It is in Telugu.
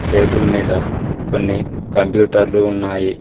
టేబుల్ మీద కొన్ని కంప్యూటర్లు ఉన్నాయి.